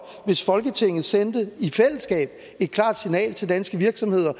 hvis folketinget sendte et klart signal til danske virksomheder